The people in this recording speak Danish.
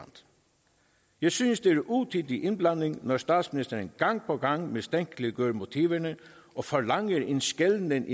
jeg synes det er utidig indblanding når statsministeren gang på gang mistænkeliggør motiverne og forlanger en skelnen mellem